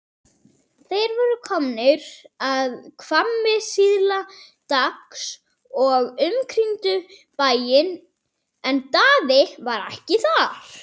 Þeir voru komnir að Hvammi síðla dags og umkringdu bæinn en Daði var ekki þar.